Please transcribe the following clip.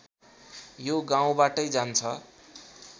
यो गाउँबाटै जान्छ